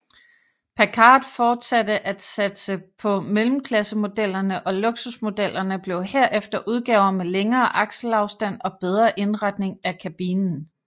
Packard fortsatte at satse på mellemklassemodellerne og luksusmodellerne blev herefter udgaver med længere akselafstand og bedre indretning af kabinen